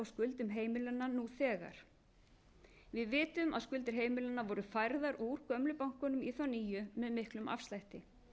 skuldum heimilanna nú þegar við vitum að skuldir heimilanna voru færðar úr gömlu bönkunum í þá nýju með miklum afslætti